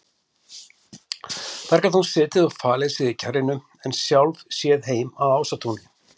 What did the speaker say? Þar gat hún setið og falið sig í kjarrinu en sjálf séð heim að Ásatúni.